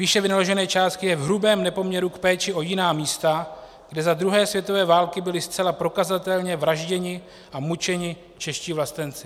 Výše vynaložené částky je v hrubém nepoměru k péči o jiná místa, kde za druhé světové války byli zcela prokazatelně vražděni a mučeni čeští vlastenci.